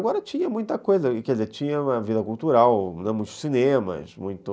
Agora tinha muita coisa, quer dizer, tinha uma vida cultural, muitos